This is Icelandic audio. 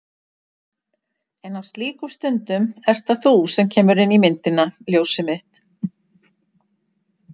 En á slíkum stundum ert það þú sem kemur inn í myndina. ljósið mitt.